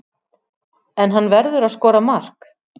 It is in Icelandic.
En hann verður að skora mark.